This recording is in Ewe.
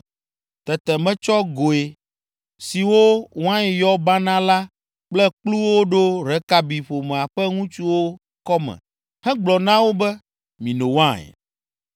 Tete metsɔ goe siwo wain yɔ banaa la kple kpluwo ɖo Rekabi ƒomea ƒe ŋutsuwo kɔme hegblɔ na wo be, “Mino wain.”